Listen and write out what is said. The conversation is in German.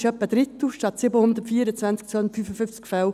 das ist etwa ein Drittel, 255 statt 724 Fälle.